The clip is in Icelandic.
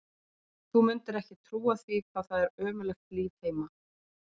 Þú mundir ekki trúa því hvað það er ömurlegt líf heima.